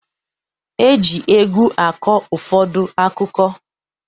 Eji egwu akọ ụfọdụ akụkọ